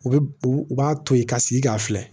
U bɛ u b'a to yen ka sigi k'a filɛ